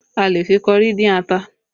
A lè fi kọrí dín ata